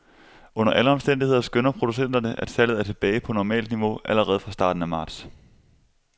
Under alle omstændigheder skønner producenterne, at salget er tilbage på normalt niveau allerede fra starten af marts.